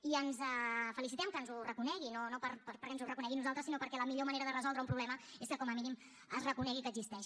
i ens felicitem que ens ho reconegui no perquè ens ho reconegui a nosaltres sinó perquè la millor manera de resoldre un problema és que com a mínim es reconegui que existeix